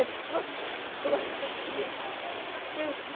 É só bolacha preta.